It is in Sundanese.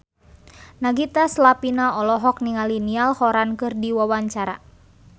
Nagita Slavina olohok ningali Niall Horran keur diwawancara